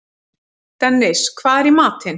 Dennis, hvað er í matinn?